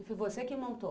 E foi você que montou?